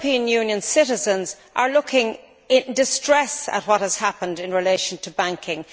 European Union citizens are looking on in distress at what has happened in relation to banking.